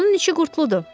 Onun işi qurtuludur.